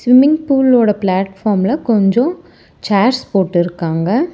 Swimming பூலோட பிளாட்பார்ம்ல கொஞ்சோ சேர்ஸ் போட்டுருக்காங்க.